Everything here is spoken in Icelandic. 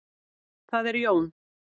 Það er Jón.